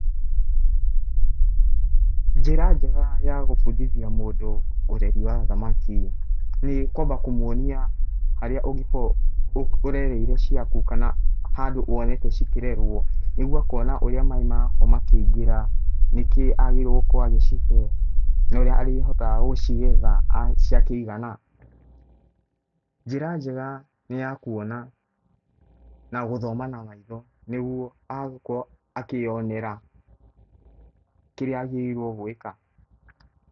Njĩra njega ya gũbundithia mũndũ ũreri wa thamaki nĩ kwamba kũmuonia harĩa ũngĩkorwo ũrereire ciaku kana handũ wonete cikĩrerwo. Nĩguo akona ũrĩa maĩ marakorwo makĩingĩra, nĩ kĩĩ agĩrĩirwo nĩ gũkorwo agicihe na ũrĩa arĩhotaga gũcigetha ciakĩigana. Njĩra njega nĩ ya kuona na gũthoma na maitho nĩguo agakorwo akĩyonera kĩrĩa agirĩirwo gwĩka.